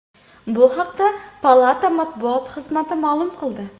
Bu haqda palata matbuot xizmati ma’lum qildi .